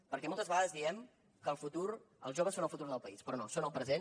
perquè moltes vegades diem que els joves són el futur del país però no són el present